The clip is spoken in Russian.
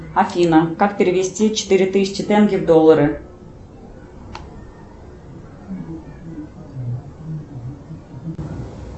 афина как перевести четыре тысячи тенге в доллары